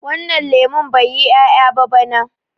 wannan lemon bai yi 'ya'ya ba bana